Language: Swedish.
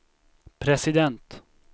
president